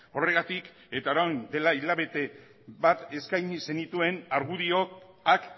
horregatik eta orain dela hilabete bat eskaini zenituen argudioak